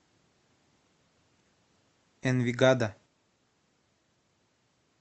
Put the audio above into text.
энвигадо